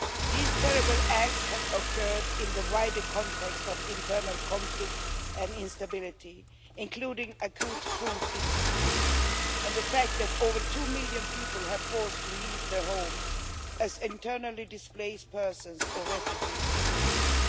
These terrible acts have occurred in the wider context of internal conflict and instability including acute food insecurity and the fact that more than two million people have been forced to leave their homes, as internally displaced persons or refugees, in the region.